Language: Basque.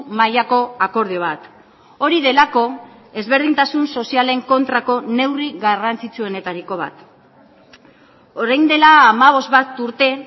mailako akordio bat hori delako ezberdintasun sozialen kontrako neurri garrantzitsuenetariko bat orain dela hamabost bat urte